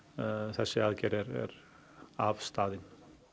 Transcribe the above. þessi aðgerð er afstaðin